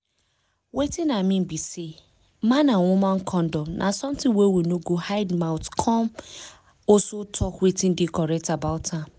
wetin i mean be say man and woman condom na something wey we no go hide mouth come also talk wetin dey correct about am